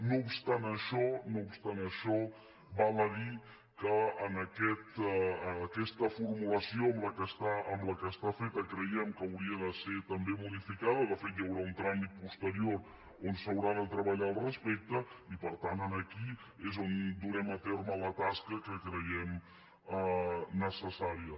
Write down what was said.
no obstant això val a dir que aquesta formulació amb la qual està feta creiem que hauria de ser modificada de fet hi haurà un tràmit posterior on s’haurà de treballar al respecte i per tant aquí és on durem a terme la tasca que creiem necessària